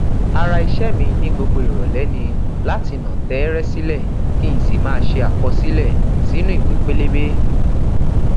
ara ìṣe mi ní gbogbo ìrọlẹ ni láti nà tẹẹrẹ sílẹ kí n sì máà ṣe àkọsílẹ sínú ìwé pélébé